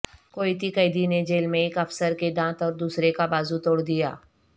کویتی قیدی نے جیل میں ایک افسر کے دانت اور دوسرے کا بازو توڑ دیا